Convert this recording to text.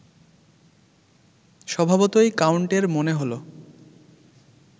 স্বভাবতই কাউন্টের মনে হল